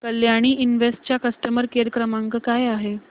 Kalyani invest चा customer care क्रमांक काय आहे